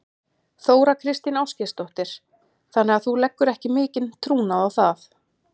Þóra Kristín Ásgeirsdóttir: Þannig að þú leggur ekki mikinn trúnað á það?